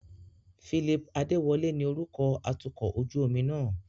Phillip Adewole ni orúkọ atukọ̀ ojú omi náà.